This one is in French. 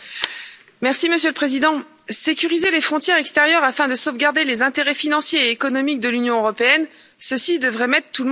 Monsieur le Président, sécuriser les frontières extérieures afin de sauvegarder les intérêts financiers et économiques de l'Union européenne, voilà qui devrait mettre tout le monde d'accord.